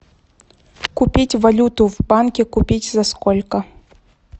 купить валюту в банке купить за сколько